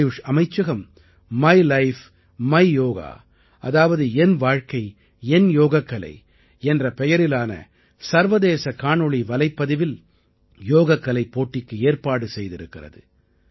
ஆயுஷ் அமைச்சகம் my life my yoga அதாவது என் வாழ்க்கை என் யோகக்கலை என்ற பெயரிலான சர்வதேச காணொளி வலைப்பதிவில் யோகக்கலைப் போட்டிக்கு ஏற்பாடு செய்திருக்கிறது